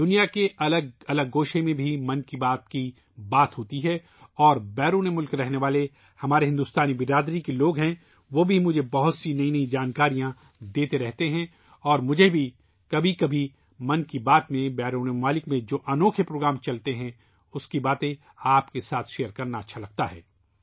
دنیا کے مختلف کونوں میں بھی ' من کی بات ' پر گفتگو ہوتی ہے اور بیرونی ملکوں میں رہنے والے ہمارے ہندوستانی سماج کے لوگ ، وہ بھی مجھے بہت سی نئی نئی معلومات دیتے رہتے ہیں اور مجھے بھی کبھی کبھی ' من کی بات ' میں بیرونی ملکوں میں ، جو انوکھے پروگرام چلتے ہیں ، اُن کی باتیں آپ کے ساتھ شیئر کرنا اچھا لگتا ہے